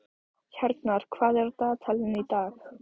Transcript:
Hjarnar, hvað er á dagatalinu í dag?